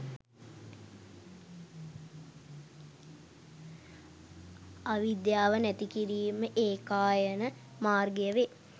අවිද්‍යාව නැති කිරීමේ ඒකායන මාර්ගය වේ.